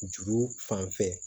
Juru fan fɛ